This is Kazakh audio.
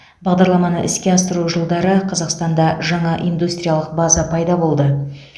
бағдарламаны іске асыру жылдары қазақстанда жаңа индустриялық база пайда болды